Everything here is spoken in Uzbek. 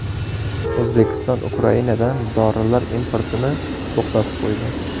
O‘zbekiston Ukrainadan dorilar importini to‘xtatib qo‘ydi.